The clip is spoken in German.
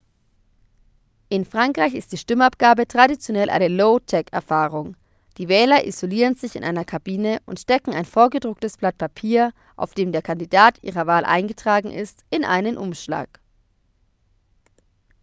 in frankreich ist die stimmabgabe traditionell eine low-tech-erfahrung die wähler isolieren sich in einer kabine und stecken ein vorgedrucktes blatt papier auf dem der kandidat ihrer wahl eingetragen ist in einen umschlag